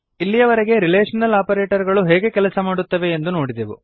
ಇಲ್ಲಿಯವರೆಗೆ relational operator ಗಳು ಹೇಗೆ ಕೆಲಸ ಮಾಡುತ್ತವೆ ಎಂದು ನೋಡಿದೆವು